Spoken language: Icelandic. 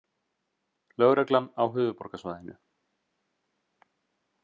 Lögreglan á höfuðborgarsvæðinu